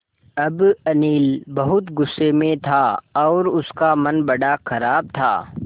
अब अनिल बहुत गु़स्से में था और उसका मन बड़ा ख़राब था